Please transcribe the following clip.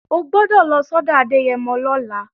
O gbọ́dọ̀ lọ sọ́dọ̀ Adẹ́yẹmọ lọ́la!